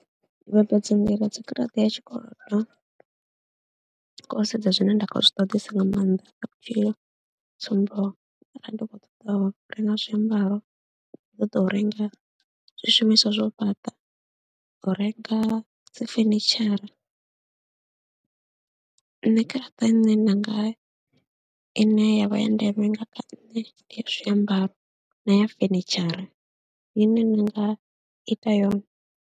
Ndi vhambedza nḓila dza garaṱa ya tshikolodo nga u sedza zwine nda khou zwi ṱoḓesa nga maanḓa kha vhutshilo, tsumbo arali ndi khou ṱoḓa u renga zwiambaro, ndi khou ṱoḓa u renga zwishumiswa zwa u fhaṱa, u renga dzi fenitshara, nṋe garaṱa ine ndi nga ine ya vha ya ndeme nga kha nṋe ndi ya zwiambaro na ya fenitshara ine nda nga ita yone.